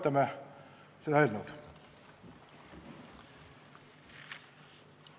Toetame seda eelnõu!